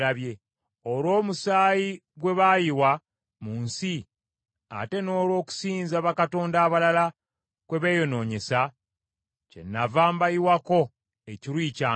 Olw’omusaayi gwe baayiwa mu nsi, ate n’olw’okusinza bakatonda abalala kwe beeyonoonyesa, kyennava mbayiwako ekiruyi kyange.